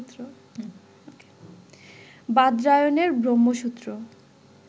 বাদরায়ণের Brahmasutra